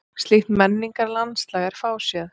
Slíkt menningarlandslag er fáséð.